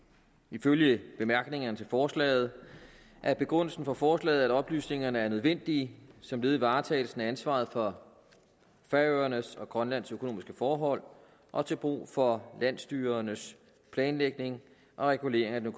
ifølge bemærkningerne til forslaget er begrundelsen for forslaget at oplysningerne er nødvendige som led i varetagelsen af ansvaret for færøernes og grønlands økonomiske forhold og til brug for landsstyrernes planlægning og regulering af den